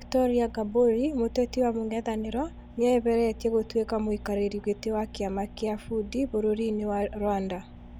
Victoria Ngabũri mûteti wa mũng'ethanĩro nĩeyeheretie gũtũĩka mũikarĩrĩ gĩtĩ wa kĩama kĩa Fudi bũrũrinĩ wa Rwanda.